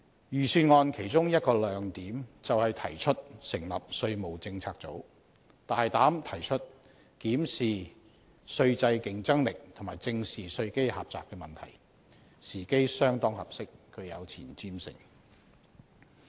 預算案的其中一個亮點，便是提出成立稅務政策組，大膽提出檢視稅制競爭力及正視稅基狹窄問題，時機相當合適，具有前瞻性。